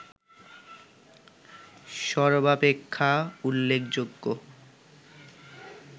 সর্বাপেক্ষা উল্লেখযোগ্য